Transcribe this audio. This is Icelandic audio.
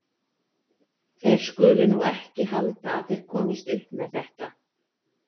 Þeir skulu nú ekki halda að þeir komist upp með þetta!